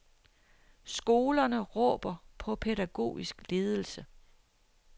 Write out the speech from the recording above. Skolerne råber på pædagogisk ledelse.